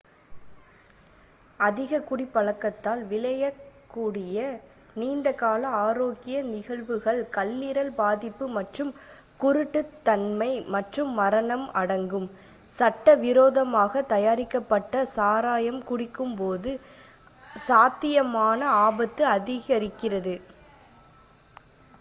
அதிக குடிப் பழக்கத்தால் விளையக் கூடிய நீண்ட கால ஆரோக்கிய நிகழ்வுகள் கல்லீரல் பாதிப்பு மற்றும் குரூட்டுத்தன்மை மற்றும் மரணம் அடங்கும் சட்ட விரோதமாக தயாரிக்கப்பட்ட சாராயம் குடிக்கும் போது சாத்தியமான ஆபத்து அதிகரிக்கிறது